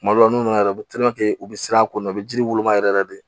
Kuma dɔ la n'u nana u bɛ u bɛ siran a ko kɔnɔ u bɛ jiriw yɛrɛ yɛrɛ de